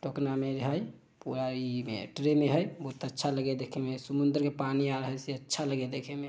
टोकना में हेय पूरा इ में ट्रे हेय बहोत अच्छा लगे हेय देखे में समुंद्रके पानी आ रहा हेयअच्छा लगे हेय देखे में।